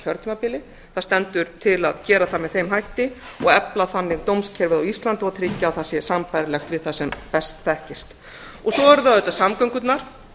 kjörtímabili það stendur til að gera það með þeim hætti og efla þannig dómskerfið á íslandi og tryggja að það sé sambærilegt við það sem best þekkist svo eru það auðvitað samgöngurnar